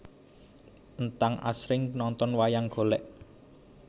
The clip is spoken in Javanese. Entang asring nonton wayang golèk